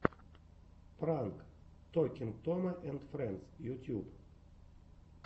пранк токинг тома энд фрэндс ютьюб